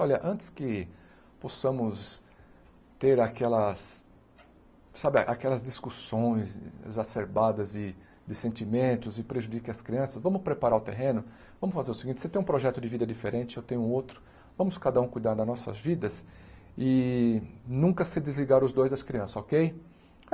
Olha, antes que possamos ter aquelas, sabe, aquelas discussões exacerbadas de de sentimentos e prejudiquem as crianças, vamos preparar o terreno, vamos fazer o seguinte, você tem um projeto de vida diferente, eu tenho outro, vamos cada um cuidar das nossas vidas e nunca se desligar os dois das crianças, okay?